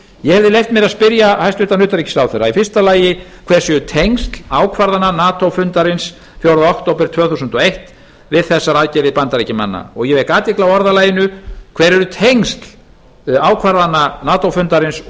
ég hef leyft mér að spyrja hæstvirtan utanríkisráðherra fyrstu hver eru tengsl ákvarðana nato fundarins fjórða október tvö þúsund og eitt við þessar aðgerðir bandaríkjamanna ég vek athygli á orðalaginu hver eru tengsl ákvarðana nato fundarins